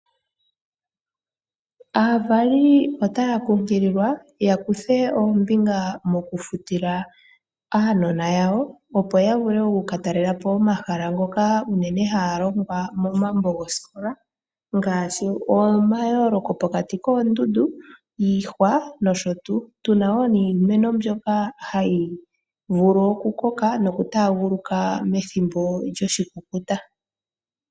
Aavali otaya kunkililwa yafutile aanona yawo, opo ya katalelepo omahala ngoka unene haya longwa momambo gosikola. Omahala ongaashi omayooloko pokati koondundu niihwa puna wo iimeno mbyoka hayi vulu oku koka noku taaguluka methimbo lyoshikukuta.